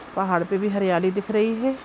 पहाड़ पे भी हरियाली दिख रही है।